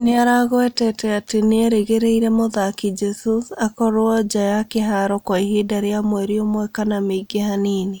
Nĩaragwetete atĩ nĩerĩgĩire mũthaki Jesus akorwo nja ya kĩharo Kwa ihinda rĩa mweri ũmwe kana mĩingĩ hanini